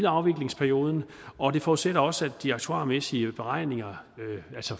afviklingsperioden og det forudsætter også hvad angår de aktuarmæssige beregninger